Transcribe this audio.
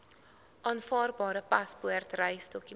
aanvaarbare paspoort reisdokument